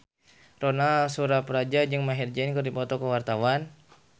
Ronal Surapradja jeung Maher Zein keur dipoto ku wartawan